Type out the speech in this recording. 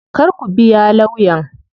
Kar ku biya lawyan.